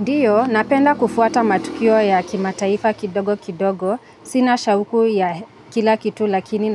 Ndiyo, napenda kufuata matukio ya kimataifa kidogo kidogo, sina shauku ya kila kitu lakini